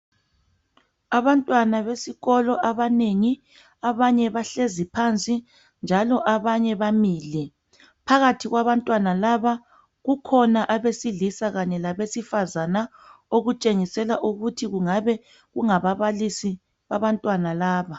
Abantwana besikolo abanengi abanye bahlezi phansi njalo abanye bamile phakathi kwabantwana laba kukhona abesilisa Kanye labesifazana okuntshengisela ukuthi kungabe kunga babalisi babantwana laba